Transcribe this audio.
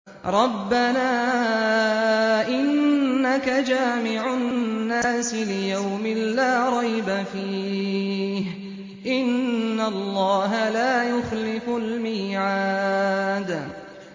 رَبَّنَا إِنَّكَ جَامِعُ النَّاسِ لِيَوْمٍ لَّا رَيْبَ فِيهِ ۚ إِنَّ اللَّهَ لَا يُخْلِفُ الْمِيعَادَ